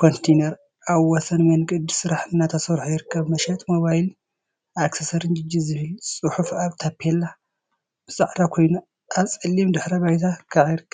ኮንተይነር አብ ወሰን መንገዲ ስራሕ እናተሰርሖ ይርከብ፡፡ መሸጢ ሞባይልን አክሰሰሪን ጂጂ ዝብል ፅሑፍ አብ ታፔላ ብፃዕዳ ኮይኑ አብ ፀሊም ድሕረ ባይታ ከዓ ይርከብ፡፡